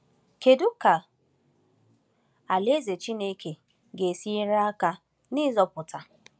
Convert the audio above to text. Kedu ka Alaeze Chineke ga-esi nyere aka n’ịzọpụta?